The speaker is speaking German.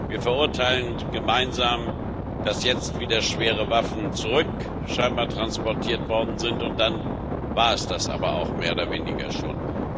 Wir verurteilen gemeinsam, dass jetzt scheinbar wieder schwere Waffen zurücktransportiert worden sind, und dann war es das aber auch mehr oder weniger schon.